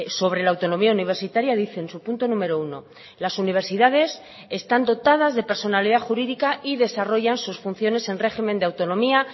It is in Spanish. sobre la autonomía universitaria dice en su punto número uno las universidades están dotadas de personalidad jurídica y desarrollan sus funciones en régimen de autonomía